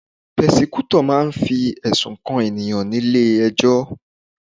Prosecutor máà ń fi ẹ̀sùn kan ènìyàn nílé ẹjọ́